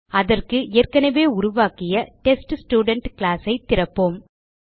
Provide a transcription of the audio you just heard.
அதற்கு ஏற்கனவே உருவாக்கிய டெஸ்ட்ஸ்டுடென்ட் கிளாஸ் ஐ திறப்போம்